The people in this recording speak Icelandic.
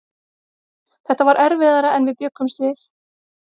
Þetta var erfiðara en við bjuggumst við.